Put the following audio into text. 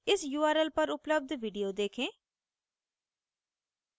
इस url पर उपलब्ध video देखें